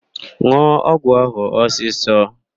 N̄ụọ ọgwụ ahụ ọsịsọ!